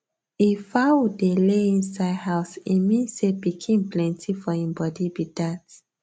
if fowl dey lay inside house e mean say pikin plenty for hin body be dat